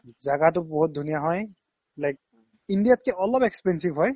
জাগাতো বহুত ধুনীয়া হয় like ইণ্ডিয়াতকে অলপ expensive হয়